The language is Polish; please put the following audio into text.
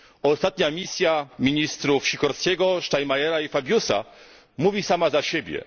Ostatnia misja ministrów Sikorskiego, Steinmeiera i Fabiusa mówi sama za siebie.